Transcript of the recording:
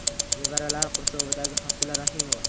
Nevaralari qurshovidagi Hosila Rahimova.